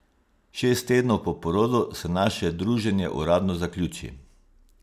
Šest tednov po porodu se naše druženje uradno zaključi.